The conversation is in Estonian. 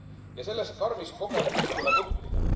Ja sellest karmist kogemusest tuleb õppida.